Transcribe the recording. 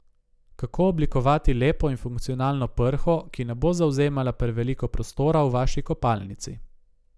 Kako oblikovati lepo in funkcionalno prho, ki ne bo zavzemala preveliko prostora v vaši kopalnici?